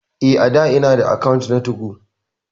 Eh a'dà ina da akant na 2go.